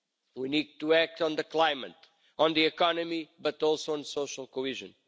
We need to act on the climate and on the economy, but also on social cohesion.